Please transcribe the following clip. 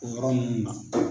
O yɔrɔ munnu na.